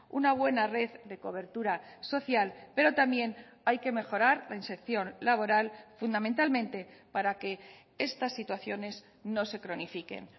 una buena red de cobertura social pero también hay que mejorar la inserción laboral fundamentalmente para que estas situaciones no se cronifiquen